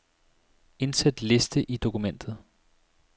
Indsæt liste i dokumentet.